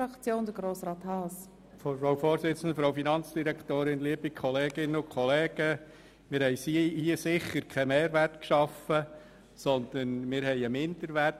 Wir haben hier sicher keinen Mehrwert geschaffen, sondern einen Minderwert.